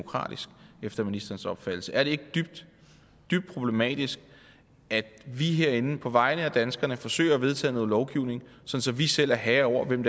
efter ministerens opfattelse demokratisk er det ikke dybt dybt problematisk at vi herinde på vegne af danskerne forsøger at vedtage noget lovgivning så så vi selv er herre over hvem